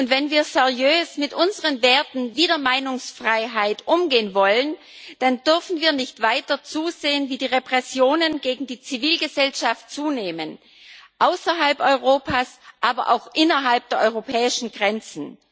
Wenn wir seriös mit unseren Werten wie der Meinungsfreiheit umgehen wollen, dann dürfen wir nicht weiter zusehen, wie die Repressionen gegen die Zivilgesellschaft zunehmen, außerhalb Europas, aber auch innerhalb der europäischen Grenzen.